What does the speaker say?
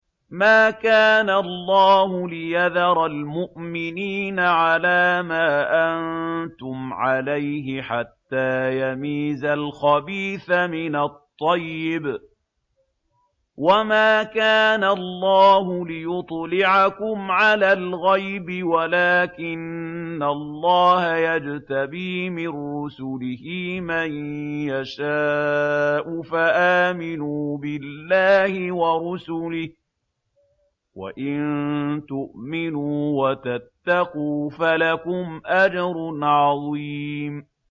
مَّا كَانَ اللَّهُ لِيَذَرَ الْمُؤْمِنِينَ عَلَىٰ مَا أَنتُمْ عَلَيْهِ حَتَّىٰ يَمِيزَ الْخَبِيثَ مِنَ الطَّيِّبِ ۗ وَمَا كَانَ اللَّهُ لِيُطْلِعَكُمْ عَلَى الْغَيْبِ وَلَٰكِنَّ اللَّهَ يَجْتَبِي مِن رُّسُلِهِ مَن يَشَاءُ ۖ فَآمِنُوا بِاللَّهِ وَرُسُلِهِ ۚ وَإِن تُؤْمِنُوا وَتَتَّقُوا فَلَكُمْ أَجْرٌ عَظِيمٌ